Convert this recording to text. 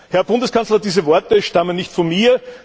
Herr Bundeskanzler, diese Worte stammen nicht von mir.